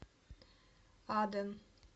аден